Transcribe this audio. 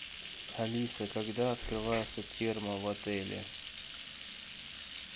алиса когда открывается термо в отеле